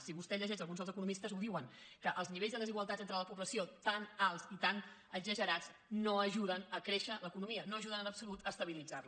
si vostè llegeix alguns dels economistes ho diuen que els nivells de desigualtat entre la població tan alts i tan exagerats no ajuden a acréixer l’economia no ajuden en absolut a estabilitzar la